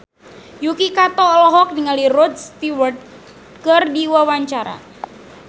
Yuki Kato olohok ningali Rod Stewart keur diwawancara